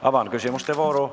Avan küsimuste vooru.